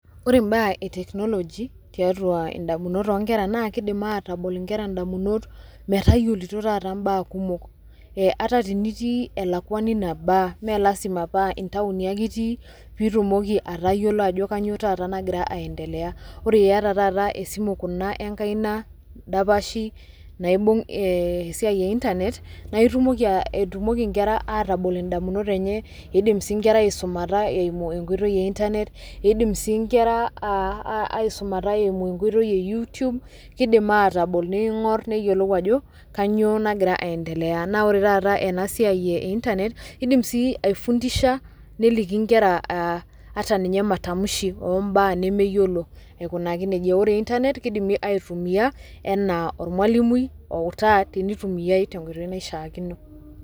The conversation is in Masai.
Ore imbaa e technology tiatua indamunot onkera naa kidim atabol inkera damunot metayiolito taata mbaa kumok. Ata tinitii elakwani nebaa, melasima paa intaoni ake itii, pitumoki atayiolo ajo kanyioo taata nagira aendelea. Ore iyata taata esimu kuna enkaina dapashi naibung' esiai e internet, naa itumoki etumoki nkera atabol indamunot enye, idim si nkera aisumata eimu enkoitoi e internet, idim si nkera aisumata eimu enkoitoi e YouTube, kidim atabol ning'or neyiolou ajo kanyioo nagira aendelea. Na ore taata enasiai e internet, kidim si ai fundisha neliki nkera ata ninye matamshi ombaa nemeyiolo aikunaki nejia. Ore internet kidimi aitumia enaa ormalimui outaa tenitumiai tenkoitoi naishaakino.